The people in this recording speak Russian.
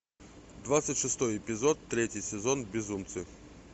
двадцать шестой эпизод третий сезон безумцы